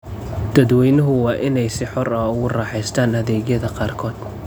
Dadweynuhu waa inay si xor ah ugu raaxaystaan ​​adeegyada qaarkood.